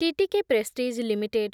TTK Prestige limited